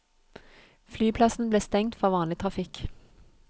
Flyplassen ble stengt for vanlig trafikk.